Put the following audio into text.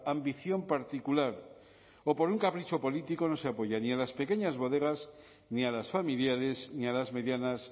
ambición particular o por un capricho político no se apoya ni a las pequeñas bodegas ni a las familiares ni a las medianas